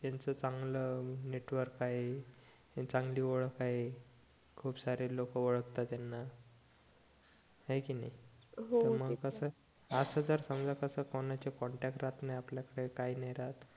यांचं चांगलं नेटवर्क आहे चांगली ओळख आहे खूप सारे लोक ओळखतात याना हाय कि नाही हो म्हणजे कस जर समजा कोणाचे कॉन्टॅक्ट राहत नाही आपल्या कळे काही नाही राहत